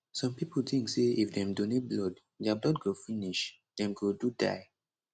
some pipo tink say if dem donate blood dia blood go finish dem go do die